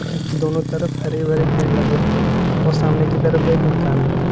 के दोनों तरफ हरे-भरे पेड़ लगे हुए हैं और सामने की तरफ एक मकान बना है।